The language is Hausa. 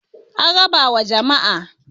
an raba wa jama'a